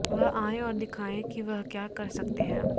वह आएं और दिखाएं कि वह क्या कर सकते हैं